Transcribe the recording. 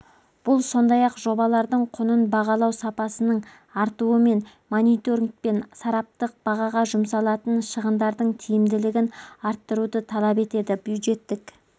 бұл сондай-ақ жобалардың құнын бағалау сапасының артуы мен мониторинг пен сараптық бағаға жұмсалатын шығындардың тиімдігілін арттыруды талап етеді бюджеттік